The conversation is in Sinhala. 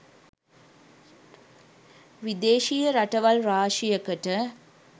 විදේශීය රටවල් රාශියකට